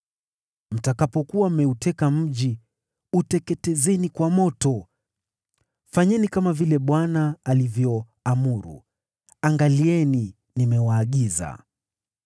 Mtakapokuwa mmeuteka mji, uteketezeni kwa moto. Fanyeni kama vile Bwana alivyoamuru. Angalieni, nimewaagiza.”